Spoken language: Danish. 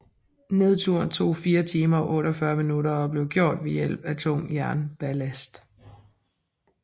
Nedturen tog 4 timer og 48 minutter og blev gjort ved hjælp af tung jernballast